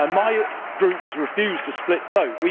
My group was refused a split vote